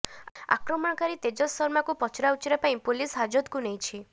ଆକ୍ରମଣକାରୀ ତେଜସ ଶର୍ମାକୁ ପଚରାଉଚରା ପାଇଁ ପୁଲିସ ହାଜତକୁ ନେଇଛି